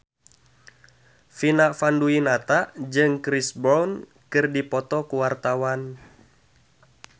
Vina Panduwinata jeung Chris Brown keur dipoto ku wartawan